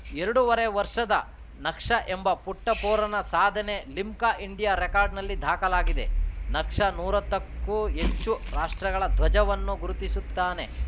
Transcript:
ಎರಡು ವರೆ ವರ್ಷದ ನಕ್ಷ ಎಂಬ ಪುಟ್ಟಪೋರನ ಸಾಧನೆ ಲಿಮ್ಕಾ ಇಂಡಿಯಾ ರೆಕಾರ್ಡ್‌ನಲ್ಲಿ ದಾಖಲಾಗಿದೆ ನಕ್ಷ ನೂರಾ ಹತ್ತಕ್ಕೂ ಹೆಚ್ಚು ರಾಷ್ಟ್ರಗಳ ಧ್ವಜವನ್ನ ಗುರುತಿಸುತ್ತಾನೆ